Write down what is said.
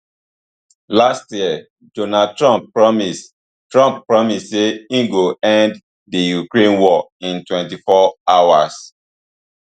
last year donald trump promise trump promise say e go end di ukraine war in twenty-four hours